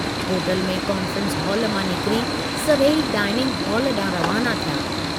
Hotel में conference hall मां निकिरी सभेई डाइनिंग हाल डांहुं रवाना थिया।